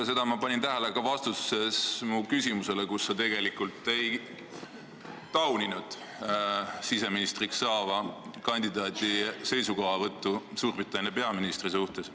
Seda ma panin tähele ka vastuses mu küsimusele, kus sa tegelikult ei tauninud siseministriks esitatud kandidaadi seisukohavõttu Suurbritannia peaministri suhtes.